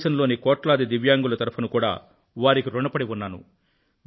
దేశంలోని కోట్లాది దివ్యాంగుల తరపున కూడా వారికి రుణపడి ఉన్నాను